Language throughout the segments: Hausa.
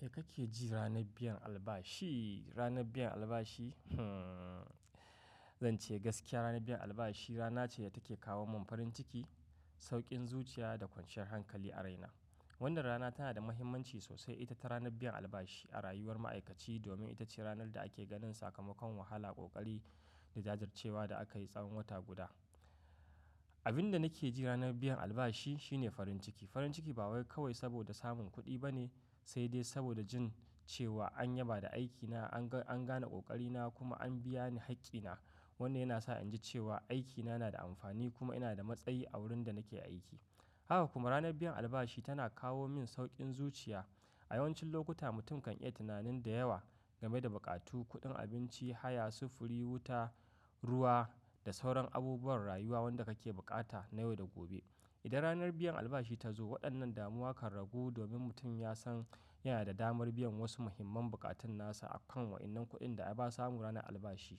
Me kake ji ranar biyan albashi, ranar biyan albashi? Hmm, zan ce gaskiya ranar biyan albashi rana ce da take kawo mun farin ciki, sauƙin zuciya da kwanciyar hankali a raina. Wannan rana tana da muhimmanci sosai ita ta ranar biyan albashi a rayuwar ma'aikaci domin ita ce ranar da ake ganin sakamakon wahala, ƙoƙari da jajircewa da aka yi tsawon wata guda. Abin da nake ji ranar biyan albashi shine farin ciki. Farin ciki ba kawai saboda samun kuɗi ba ne, sai dai saboda jin cewa an yaba da aikina, an ga-- an gane ƙoƙarina kuma an biya ni haƙƙina. Wannan yana sa in ji cewa aikina yana da amfani kuma ina da matsayi a wurin da nake aiki. Haka kuma ranar biyan albashi tana kawo min sauƙin zuciya. A yawancin lokuta mutum kan iya tunanin da yawa game da buƙatu, kuɗin abinci, haya, sufuri, wuta, ruwa da sauran abubuwan rayuwa wanda kake buƙata na yau da gobe. Idan ranar biyan albashi ta zo, waɗannan damuwa kan ragu domin mutum ya san yana da damar biyan wasu muhimman buƙatun nasa a kan waɗannan kuɗin da ya ba samu ranar albashi.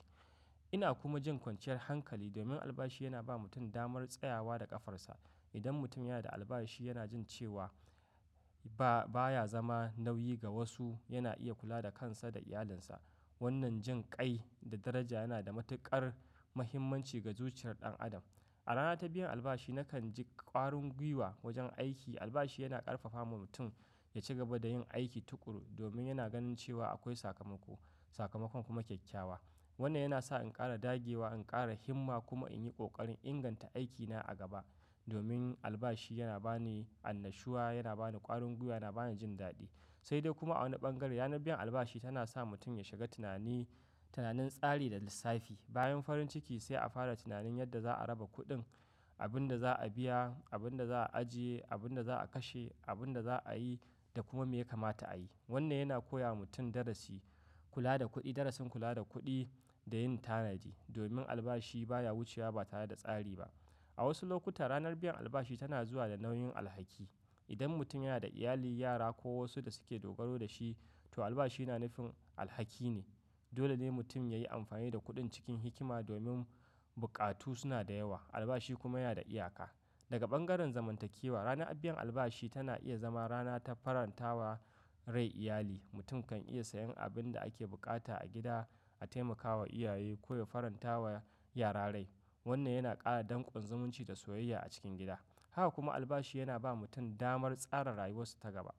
Ina kuma jin kwanciyar hankali domin albashi yana ba mutum damar tsayawa da ƙafarsa. Idan mutum yana da albashi yana jin cewa ba, baya zama nauyi ga wasu, yana iya kula da kansa da iyalinsa. Wannan jin kai da daraja yana da matuƙar muhimmanci ga zuciyar ɗan adam. A rana ta biyan albashi nakan ji ƙwarin guiwa wajen aiki. Albashi yana ƙarfafawa mutum ya ci gaba da yin aiki tuƙuru domin yana ganin cewa akwai sakamako, sakamakon kuma kyakkyawa. Wannan yana sa in ƙara dagewa, in ƙara himma kuma in yi ƙoƙarin inganta aikina a gaba. Domin albashi yana ba ni annashuwa, yana ba ni ƙwarin guiwa, yana ba ni jin daɗi. Sai dai kuma a wani ɓangare ranar biyan albashi tana sa mutum ya shiga tunani, tunanin tsari da lissafi. Bayan farin ciki sai a fara tunanin yadda za'a raba kuɗin, abin da za'a biya, abin da za'a ajiye, abin da za'a kashe, abin da za'a yi da kuma me ya kamata a yi. Wannan yana koya wa mutum darasi kula da kuɗi, darasin kula da kuɗi da yin tanaji. Domin albashi baya wucewa ba tare da tsari ba. A wasu lokuta ranar biyan albashi tana zuwa da nauyin alhaki. Idan mutum yana da iyali, yara ko wasu da suke dogaro da shi, to albashi na nufin alhaki ne. Dole ne mutum ya yi amfani da kuɗin cikin hikima domin buƙatu suna da yawa, albashi kuma yana da iyaka. Daga ɓangaren zamantakewa, ranar biyan albashi tana iya zama rana ta farantawa rai iyali. Mutum kan iya sayen abin da ake buƙata a gida, a taimakawa iyaye ko ya farantawa yara rai. Wannan yana ƙara dankon zumunci da soyayya a cikin gida. Haka kuma albashi yana ba mutum damar tsara rayuwarsa ta gaba.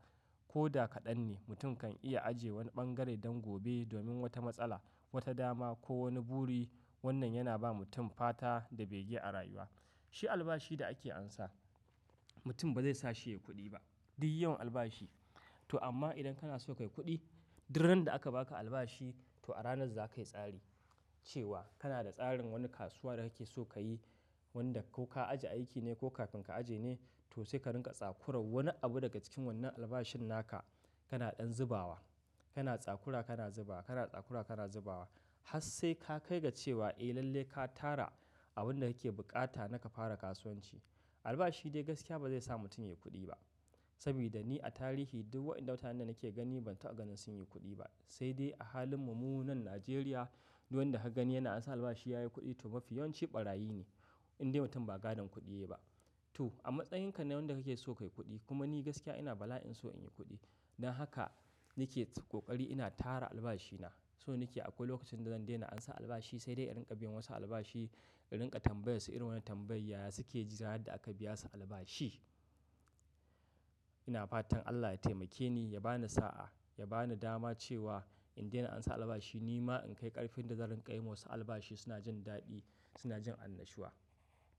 Ko da kaɗan ne, mutum kan iya ajiye wani ɓangare don gobe domin wata matsala, wata dama ko wani buri. Wannan yana ba mutum fata da bege a rayuwa. Shi albashi da ake amsa mutum ba zai sa shi ya yi kuɗi ba. Duk yawan albashi. To amma idan kana so ka yi kuɗi, duk ran da aka baka albashi to a ranar za ka yi tsari cewa kana da tsarin wani kasuwa da kake so ka yi, wanda ko ka ajiye aiki ne ko kafin ka ajiye ne, to sai ka rinƙa tsakurar wani abu daga cikin wannan albashin naka. Kana ɗan zubawa, kana tsakura kana zubawa, kana tsakura kana zubawa har sai ka kai ga cewa eh lalle ka tara abin da kake buƙata, naka fara kasuwanci. Albashi dai gaskiya ba zai sa mutum ya yi kuɗi ba. Saboda ni a tarihi duk waɗanda watanni da nake gani ban ta ga sun yi kuɗi ba. Sai dai a halin mu mu nan Najeriya, duk wanda ka gani yana amsa albashi ya yi kuɗi to mafi yawanci ɓarayi ne. Indai mutum ba gadon kuɗi yayi ba. To a matsayinka na wanda kake so ka yi kuɗi. Kuma ni gaskiya ina bala'in so in yi kuɗi. Dan haka nake ƙoƙari ina tara albashina. So nake akwai lokacin da zan daina amsa albashi sai dai in rinƙa biyan wasu albashi, in rinƙa tambaya su irin wane tambayaya suke ji ranar da aka biya su albashi. Ina fatan Allah ya taimake ni, ya ba ni sa'a, ya ba ni dama cewa in daina amsa albashi ni ma in kai ƙarfin da zan rinƙa wa wasu albashi suna jin daɗi, suna jin annashuwa.